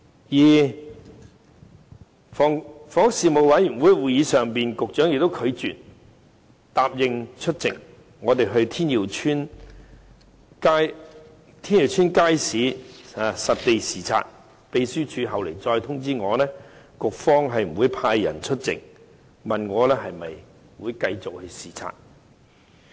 此外，在房屋事務委員會的會議上，局長拒絕答應與我們到天耀邨街市實地視察，秘書處後來亦通知我局方不會派人出席，問我是否繼續視察。